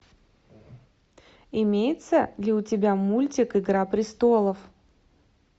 имеется ли у тебя мультик игра престолов